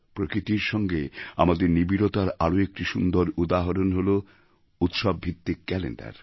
প্রকৃতির সঙ্গে আমাদের নিবিড়তার আরও একটি সুন্দর উদাহরণ হল উৎসবভিত্তিক ক্যালেণ্ডার